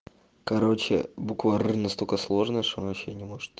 короче буква р настолько сложно что он вообще не может